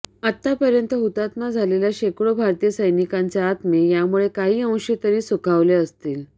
आतापर्यंत हुतात्मा झालेल्या शेकडो भारतीय सैनिकांचे आत्मे यामुळे काही अंशी तरी सुखावले असतील